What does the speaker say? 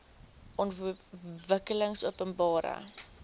ontwikkelingopenbare